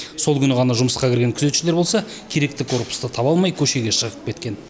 сол күні ғана жұмысқа кірген күзетшілер болса керекті корпусты таба алмай көшеге шығып кеткен